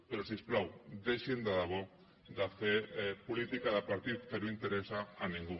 però si us plau deixin de debò de fer política de partit que no interessa a ningú